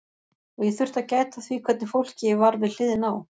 Og ég þurfti að gæta að því hvernig fólki ég var við hliðina á.